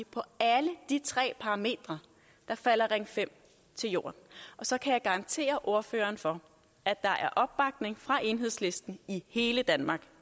på alle de tre parametre falder ring fem til jorden og så kan jeg garantere ordføreren for at der er opbakning fra enhedslisten i hele danmark